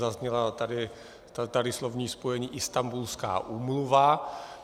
Zaznělo tady slovní spojení Istanbulská úmluva.